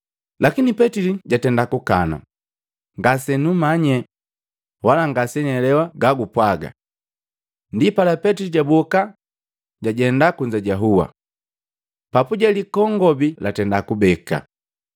Lakini petili jatenda kukana, “Ngasemanya, wala ngasenielewa ga gupwaga!” Ndipala Petili jaboka jajenda kunza jahua. Papuje likongobi latenda kubeka.